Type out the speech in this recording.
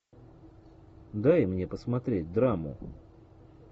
дай мне посмотреть драму